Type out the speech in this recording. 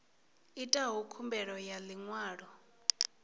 itaho khumbelo ya ḽi ṅwalo